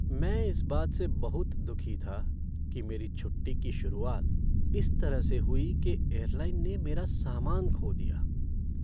मैं इस बात से बहुत दुखी था कि मेरी छुट्टी की शुरुआत इस तरह से हुई कि एयरलाइन ने मेरा सामान खो दिया।